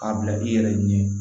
K'a bila i yɛrɛ ɲɛ